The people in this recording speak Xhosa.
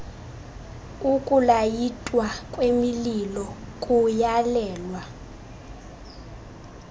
ukulayitwa kwemililo kuyalelwa